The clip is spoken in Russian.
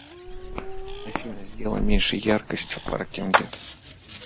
афина сделай меньше яркость в паркинге